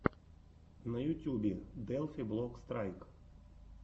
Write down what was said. на ютюбе делфи блок страйк